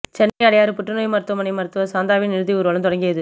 சென்னை அடையாறு புற்றுநோய் மருத்துவமனை மருத்துவர் சாந்தாவின் இறுதி ஊர்வலம் தொடங்கியது